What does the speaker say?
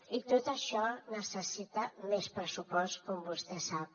i tot això necessita més pressupost com vostè sap